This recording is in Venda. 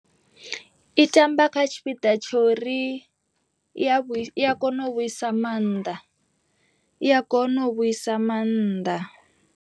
I tamba kha tshipiḓa tshori i a kona u vhuisa maanḓa, i a kona u vhuisa maanḓa.